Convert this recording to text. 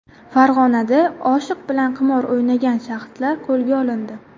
Farg‘onada oshiq bilan qimor o‘ynagan shaxslar qo‘lga olindi.